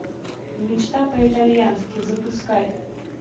мечта по итальянски запускай